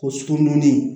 Ko sugɔrodonni